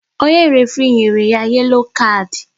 Onye référé nyere ya yelo kard